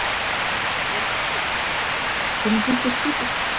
Hödd Vilhjálmsdóttir: Hvernig finnst þér skipið?